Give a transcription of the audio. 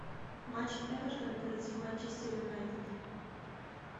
матч эвертон против манчестер юнайтед